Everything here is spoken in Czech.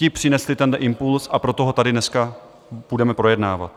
Ti přinesli tenhle impuls, a proto ho tady dneska budeme projednávat.